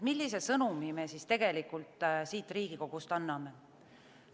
Millise sõnumi me siit Riigikogust anname?